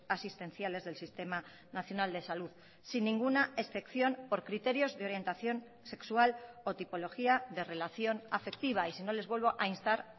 asistenciales del sistema nacional de salud sin ninguna excepción por criterios de orientación sexual o tipología de relación afectiva y si no les vuelvo a instar